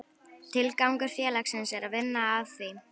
Tilgangur félagsins er að vinna að því: